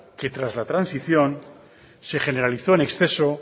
que tras la transición se generalizó en exceso